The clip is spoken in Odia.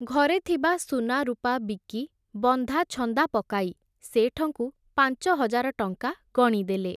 ଘରେ ଥିବା ସୁନାରୁପା ବିକି, ବନ୍ଧାଛନ୍ଦା ପକାଇ, ଶେଠଙ୍କୁ ପାଞ୍ଚହଜାର ଟଙ୍କା ଗଣିଦେଲେ ।